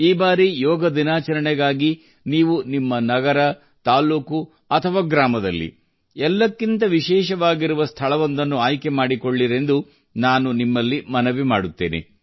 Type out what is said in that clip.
ಈ ಬಾರಿ ಯೋಗ ದಿನಾಚರಣೆಗಾಗಿ ನೀವು ನಿಮ್ಮ ನಗರ ತಾಲ್ಲೂಕು ಅಥವಾ ಗ್ರಾಮದಲ್ಲಿ ಎಲ್ಲಕ್ಕಿಂತ ವಿಶೇಷವಾಗಿರುವ ಸ್ಥಳವೊಂದನ್ನು ಆಯ್ಕೆ ಮಾಡಿಕೊಳ್ಳಿರೆಂದು ನಾನು ನಿಮ್ಮಲ್ಲಿ ಮನವಿ ಮಾಡುತ್ತೇನೆ